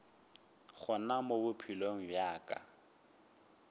gona mo bophelong bja ka